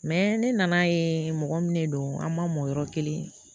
ne nan'a ye mɔgɔ min ne don an ma mɔn yɔrɔ kelen